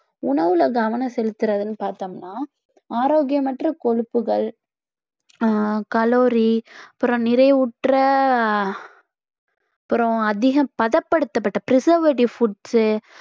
உணவுல கவனம் செலுத்துறதுன்னு பார்த்தோம்னா ஆரோக்கியமற்ற கொழுப்புகள் ஆஹ் calorie அப்புறம் நிறைவுற்ற அப்புறம் அதிகம் பதப்படுத்தப்பட்ட preservative foods உ